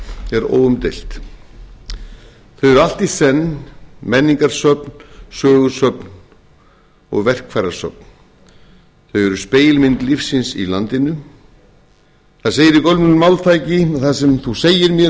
er óumdeilt þau eru allt í senn menningarsöfn sögusöfn og verkfærasöfn þau eru spegilmynd lífsins í landinu það segir í gömlu máltæki að það sem þú segir mér